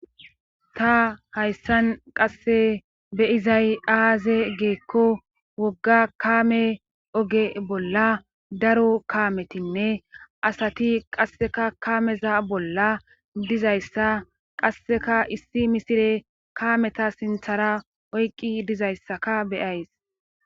ta hayssan qasse beyizay aaze geekko wogga kaame oge bolla daro kaametinne asati qasseka kaameza bolla dizayssa qasseka issi misire kaameta sinthara oyqqi dizayssaka beyays